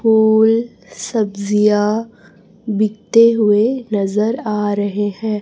फूल सब्जियां बिक्ते हुए नजर आ रहे हैं।